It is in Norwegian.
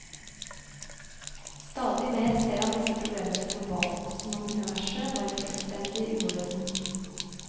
Stadig mer ser han disse problemene globalt, som om universet var i fullstendig uorden.